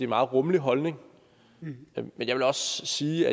meget rummelig holdning men jeg vil også sige